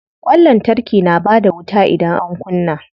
Ƙwan lantarki na bada wuta idan an kunna.